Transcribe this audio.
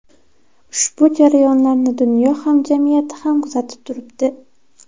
Ushbu jarayonlarni dunyo hamjamiyati ham kuzatib turibdi.